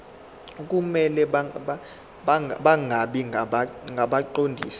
kumele bangabi ngabaqondisi